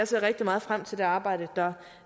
ser rigtig meget frem til det arbejde der